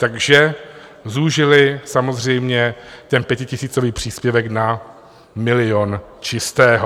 Takže zúžili samozřejmě ten pětitisícový příspěvek na milion čistého.